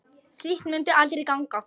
Slíkt mundi aldrei ganga.